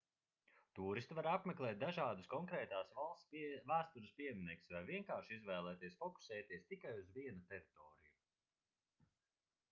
tūristi var apmeklēt dažādus konkrētās valsts vēstures pieminekļus vai vienkārši izvēlēties fokusēties tikai uz vienu teritoriju